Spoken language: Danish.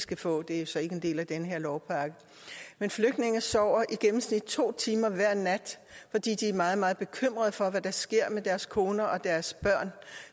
skal få det er jo så ikke en del af den her lovpakke men flygtninge sover i gennemsnit to timer hver nat fordi de er meget meget bekymrede for hvad der sker med deres koner og deres børn